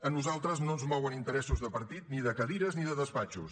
a nosaltres no ens mouen interessos de partit ni de cadires ni de despatxos